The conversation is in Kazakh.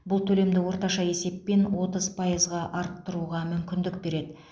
бұл төлемді орташа есеппен отыз пайызға арттыруға мүмкіндік береді